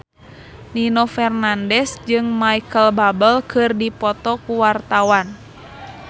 Nino Fernandez jeung Micheal Bubble keur dipoto ku wartawan